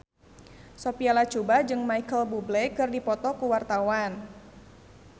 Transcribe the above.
Sophia Latjuba jeung Micheal Bubble keur dipoto ku wartawan